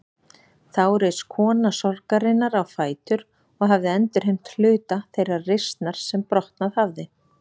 Þá reis kona sorgarinnar á fætur og hafði endurheimt hluta þeirrar reisnar sem brotnað hafði.